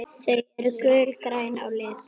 Þau eru gulgræn á lit.